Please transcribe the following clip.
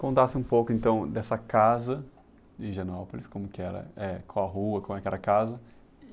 Contasse um pouco, então, dessa casa de Higienópolis, como que era, eh, qual a rua, como é que era a casa.